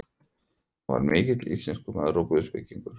Hann var mikill íslenskumaður og guðspekingur.